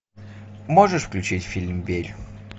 можешь включить фильм верь